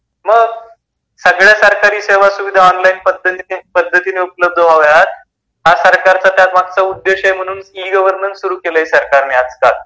सगळ्या सरकारी सेवा सोयी सुविधा ऑनलाइन पद्धतिनि उपलब्ध व्हाव्या हा सरकारचा त्या मागचा उद्देश्य आहे. म्हणून ई -गवर्नन्स सुरु केली सरकारने आजकाल.